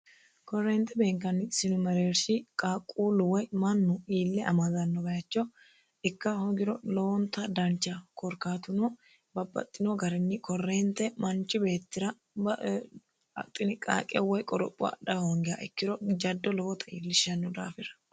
korreente beenkanni sinu mereershi qaaqquullu woy mannu iille amaadanno bayicho ikka hogiro loonta dancha korkaatuno babbaxxino garinni korreente manchi beettira ba axiniqaaqe woy qoropho adha hoongeha ikkiro jaddo lobota iillishshnno daafira